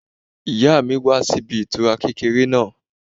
Ìyá mi wà níbi ìtura kékeré náà